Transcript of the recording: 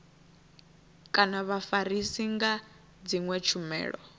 kana vhafarisi nga dzinwe tshumelo